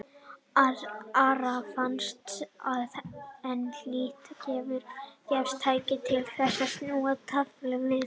Ara fannst að enn hlyti að gefast tækifæri til þess að snúa taflinu við.